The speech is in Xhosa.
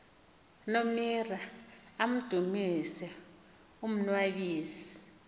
monira amdumise umnnwabisi